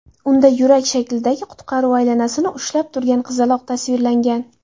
Unda yurak shaklidagi qutqaruv aylanasini ushlab turgan qizaloq tasvirlangan.